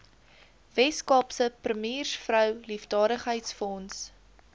weskaapse premiersvrou liefdadigheidsfonds